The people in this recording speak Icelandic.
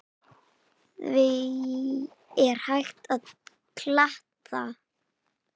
Því er hægt að glata!